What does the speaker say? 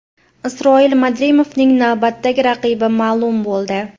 Isroil Madrimovning navbatdagi raqibi ma’lum bo‘ldi.